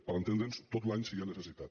per entendre’ns tot l’any si n’hi ha necessitat